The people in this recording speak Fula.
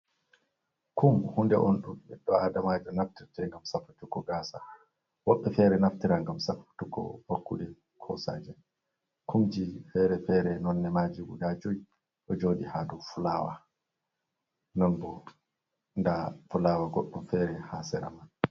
Kum hunde on, ɗum ɓiɗɗo aadamajo naftirte, ngam safutugo gaasa, woɓɓe feere naftira ngam safutugo bakkude, ko saaje. Kumji fere-fere nonne maaji guda joyi, ɗo jooɗi haa dow fulawa, non bo ndaa fulawa goɗɗum feere, haa sera man.